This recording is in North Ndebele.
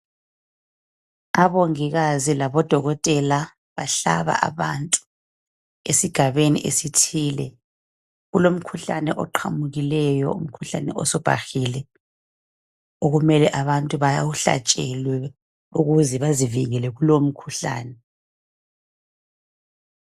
abongikazi labodokotela bahlaba abantu esigabeni esithile kulomkhuhlane oqhamukileyo umkhuhlane osubhahile okumele abantu bawuhlatshelwe ukuze bazivekele kulowo mkhuhlane